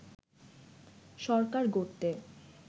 সরকার গড়তে